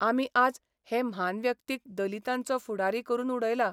आमी आज हे म्हान व्यक्तीक दलितांचो फुडारी करून उडयला.